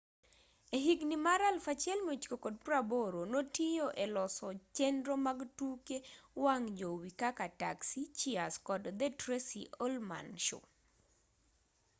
e higni mag 1980 notiyo e loso chenro mag tuke wang' jowi kaka taxi cheers kod the tracy ullman show